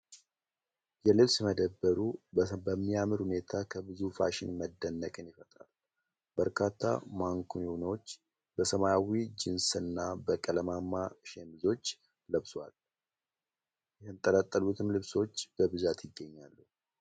የልብስ መደብሩ በሚያምር ሁኔታ ከብዙ ፋሽን መደነቅን ይፈጥራል። በርካታ ማኒኩዊኖች በሰማያዊ ጂንስና በቀለማማ ሸሚዞች ለብሰዋል። የተንጠለጠሉትም ልብሶች በብዛት ይገኛሉ ።